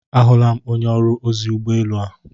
A hụla onye ọrụ ozi ụgbọelu a.